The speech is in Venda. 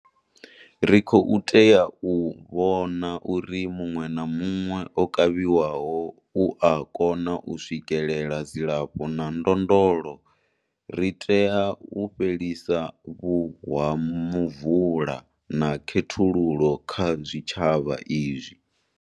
Ri khou tea u vhona uri muṅwe na muṅwe o kavhiwaho u a kona u swikelela dzilafho na ndondolo. Ri tea u fhelisa vhuwamuvula na khethululo kha zwitshavha izwi.